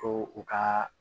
Ko u ka